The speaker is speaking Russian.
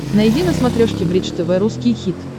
найди на смотрешке бридж тв русский хит